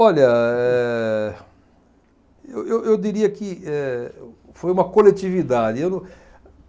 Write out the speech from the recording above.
Olha, eh, eu eu eu diria que, eh, foi uma coletividade, eu não.